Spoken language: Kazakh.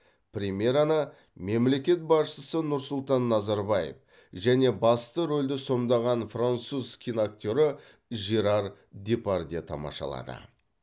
премьераны мемлекет басшысы нұрсұлтан назарбаев және басты рөлді сомдаған француз киноактері жерар депардье тамашалады